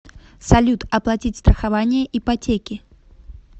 салют оплатить страхование ипотеки